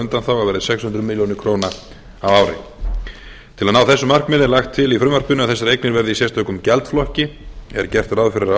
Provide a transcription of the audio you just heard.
verði sex hundruð milljóna króna á ári til að ná þessu markmiði er lagt til í frumvarpinu að þessar eignir verði í sérstökum gjaldflokki er gert ráð fyrir að